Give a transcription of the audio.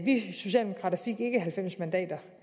vi socialdemokrater fik ikke halvfems mandater